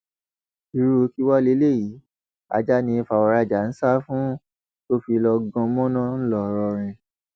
irú kí wàá lélẹyìí ajá ni fàwọrajà ń sá fún tó fi lọọ gan mọnà ńlọrọrìn